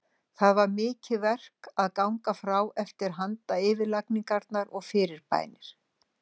Það var mikið verk að ganga frá eftir handayfirlagningar og fyrirbænir.